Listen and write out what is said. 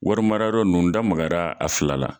Wari mara yɔrɔ nunnu n da magara a fila la